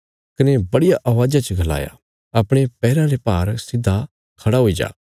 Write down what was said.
कने बड़िया अवाज़ा च गलाया अपणे पैराँ रे भार सिधा खड़ा हुई जा